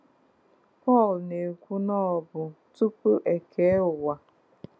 Pọl na-ekwu na ọ bụ tupu e kee ụwa.